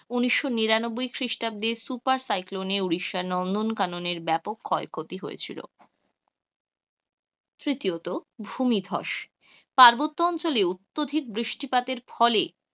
উনিশস নিরানব্বই খ্রিষ্টাব্দের সুপার সাইক্লোনে উড়িশ্যার নন্দন কাননের ব্যাপক ক্ষতি হয়েছিল, তৃতীয়ত ভূমি ধ্বস, পার্বত্য অঞ্চলেও অত্যধিক বৃষ্টি পাতের ফলে,